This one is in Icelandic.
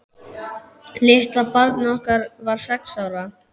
Litla barnið okkar var sex ára.